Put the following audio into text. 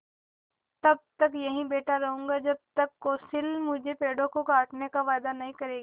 तब तक यहीं बैठा रहूँगा जब तक कौंसिल मुझे पेड़ों को छोड़ने का वायदा नहीं करेगी